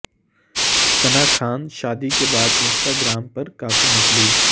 ثنا ءخان شادی کے بعد انسٹا گرام پرکافی مقبول